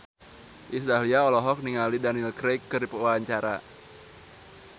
Iis Dahlia olohok ningali Daniel Craig keur diwawancara